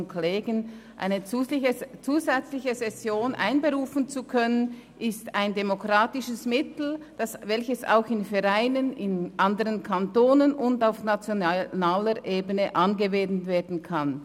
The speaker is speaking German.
Eine zusätzliche Session einzuberufen, ist ein demokratisches Mittel, welches auch in Vereinen, in anderen Kantonen und auf nationaler Ebene angewendet werden kann.